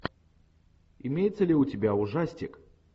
имеется ли у тебя ужастик